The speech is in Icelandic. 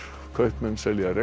kaupmenn selja